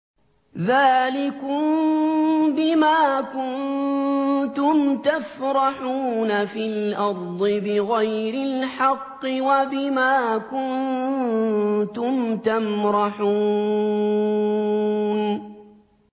ذَٰلِكُم بِمَا كُنتُمْ تَفْرَحُونَ فِي الْأَرْضِ بِغَيْرِ الْحَقِّ وَبِمَا كُنتُمْ تَمْرَحُونَ